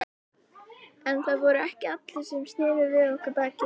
En það voru ekki allir sem sneru við okkur baki.